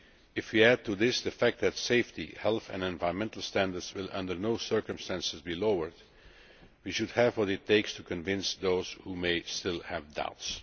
If we add to this the fact that safety, health and environmental standards will under no circumstances be lowered, we should have what it takes to convince those who may still have doubts.